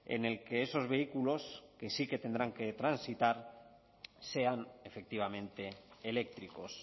en el que esos vehículos que sí que tendrán que transitar sean efectivamente eléctricos